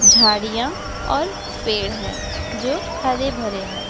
झाड़ियाँ और पेड़ है जो हरे भरे हैं।